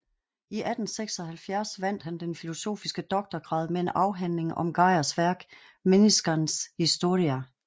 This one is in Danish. I 1876 vandt han den filosofiske doktorgrad med en afhandling om Geijers værk Menniskans historia